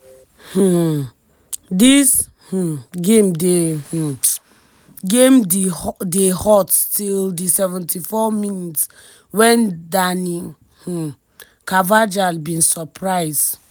um dis um game dey um game dey hot till di 74mins wen dani um carvajal bin surprise